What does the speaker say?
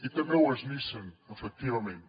i també ho és nissan efectivament